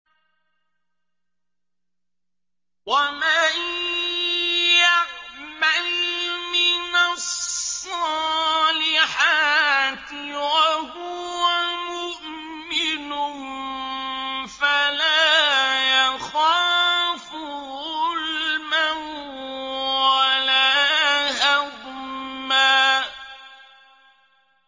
وَمَن يَعْمَلْ مِنَ الصَّالِحَاتِ وَهُوَ مُؤْمِنٌ فَلَا يَخَافُ ظُلْمًا وَلَا هَضْمًا